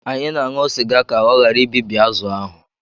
Anyị na-aṅụ sịga ka ọ ghara ibibi azụ̀ ahụ